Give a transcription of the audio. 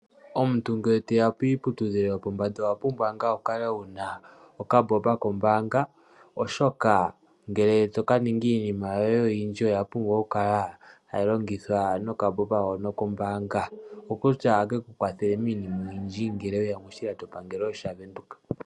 Omuntu ngele toya kiiputudhilo yopombanda owa pumbwa ngaa wukale wuna oka mbomba kombaanga oshoka ngele tokaninga iinima yoye oyindji oya pumbwa oku kala hayi longithwa noka mbomba kombaanga. Okutya ohakeku kwathele miinima oyindji ngele weya moshilando pangelo sha Venduka.